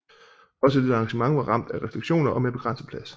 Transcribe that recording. Også dette arrangement var ramt af restriktioner og med begrænset plads